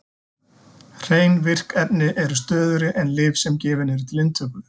Hrein virk efni eru stöðugri en lyf sem gefin eru til inntöku.